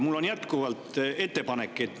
Mul on jätkuvalt ettepanek.